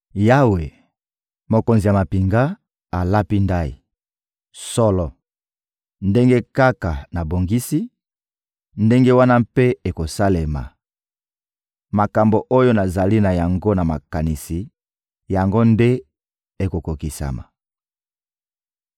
Yawe, Mokonzi ya mampinga, alapi ndayi: «Solo, ndenge kaka nabongisi, ndenge wana mpe ekosalema; makambo oyo nazali na yango na makanisi, yango nde ekokokisama.